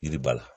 Yiriba la